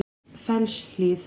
Fellshlíð